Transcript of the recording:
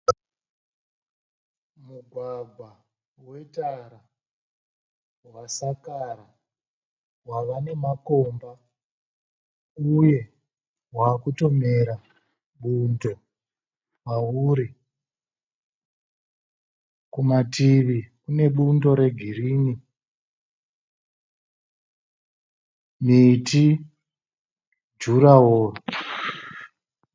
Mugwagwa vetara vasakara vava nemakomba uye vatomera bundo pauri kumamativi kune bundo regirini, miti, jurahoo